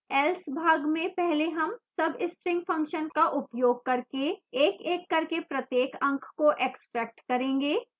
else भाग में पहले हम substring function का उपयोग करके एकएक करके प्रत्येक अंक को extract करेंगे